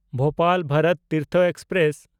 Bhopal Bharat Tirth express